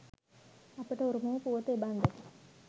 අපට උරුම වූ පුවත එබන්දකි.